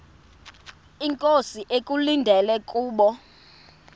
inkosi ekulindele kubo